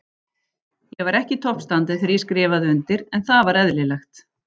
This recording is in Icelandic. Ég var ekki í toppstandi þegar ég skrifaði undir, en það var eðlilegt.